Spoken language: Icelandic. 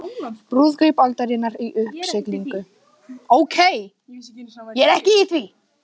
Brúðkaup aldarinnar í uppsiglingu